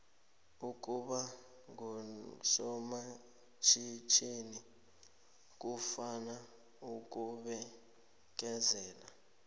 ukuba ngusomatjhithini kufuna ukubekezela